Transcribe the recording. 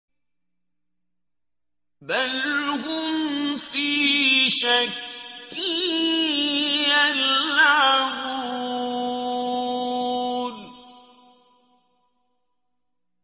بَلْ هُمْ فِي شَكٍّ يَلْعَبُونَ